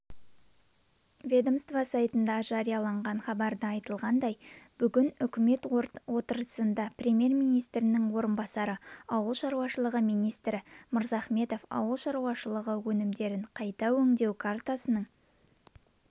ведомство сайтында жарияланған хабарда айтылғандай бүгін үкімет отырысында премьер-министрінің орынбасары ауыл шаруашылығы министрі мырзахметов ауыл шаруашылығы өнімдерін қайта өңдеу картасының